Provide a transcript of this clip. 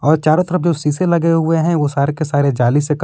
अ चारों तरफ जो सीसे लगे हुए हैं ओ सारे के सारे जाली से कव--